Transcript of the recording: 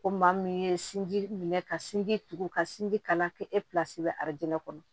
Ko maa min ye sinji minɛ ka sinji tugu ka sinji kala kɛ e psi bɛ arajo kɔnɔ